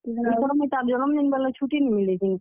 ଇଥର ମୁଇଁ ତାର୍ ଜନମ୍ ଦିନ୍ ବେଲେ ଛୁଟି ନି ମିଲେ କିନି।